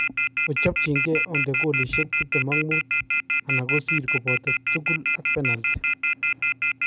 Ochopchinike onde goalishek 25 anan kosir koboto tugul ak penalti.